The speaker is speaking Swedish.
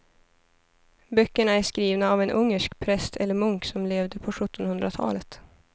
Böckerna är skrivna av en ungersk präst eller munk som levde på sjuttonhundratalet.